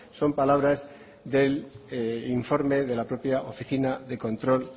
son palabras del informe de la propia oficina de control